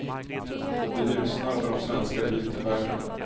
Det ljusnar för de svenska biltillverkarna.